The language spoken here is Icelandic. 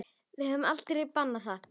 Við höfum aldrei bannað það.